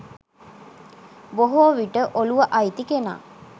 බොහෝ විට ඔලුව අයිති කෙනා